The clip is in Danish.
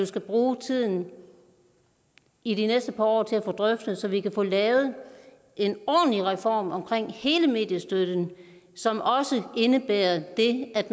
skal bruge tiden i de næste par år til at få det drøftet så vi kan få lavet en ordentlig reform omkring hele mediestøtten som også indebærer det at